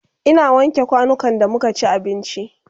Ina wanke kwanukan da muka ci abinci